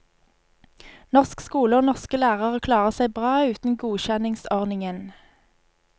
Norsk skole og norske lærere klarer seg bra uten godkjenningsordningen.